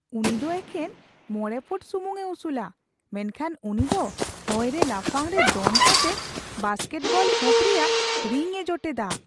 ᱩᱱᱤ ᱫᱚ ᱮᱠᱮᱱ ᱕ ᱯᱷᱩᱴ ᱥᱩᱢᱩᱝᱼᱮ ᱩᱥᱩᱞᱼᱟ ᱾ ᱢᱮᱱᱠᱷᱟᱱ ᱩᱱᱤ ᱫᱚ ᱦᱚᱭᱨᱮ ᱞᱟᱯᱷᱟᱝᱨᱮ ᱫᱚᱱ ᱠᱟᱛᱮᱫ ᱵᱟᱥᱠᱮᱴᱵᱚᱞ ᱦᱩᱯ ᱨᱮᱭᱟᱜ ᱨᱤᱝᱼᱮ ᱡᱚᱴᱮᱫᱼᱟ ᱾